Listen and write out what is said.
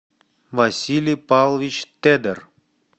василий павлович тедер